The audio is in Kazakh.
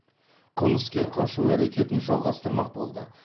қылмыскер қашу әрекетін жалғастырмақ болды